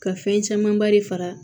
Ka fɛn camanba de fara